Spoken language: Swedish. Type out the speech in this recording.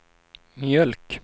mjölk